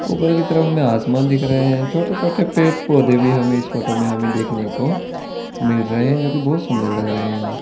ऊपर की तरफ हमें आसमान दिख रहे है छोटे-छोटे पेड़ पौधे भी हमें इस फोटो में देखने को मिल रहे है जो भी बहुत सुन्दर लग रहे है।